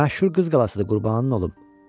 Məşhur Qız qalasıdır Qurbanın olum.